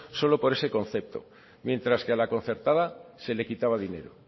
solo por eso concepto mientras que a la concertada se le quitaba dinero